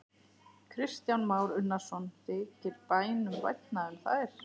Kristján Már Unnarsson: Þykir bændum vænna um þær?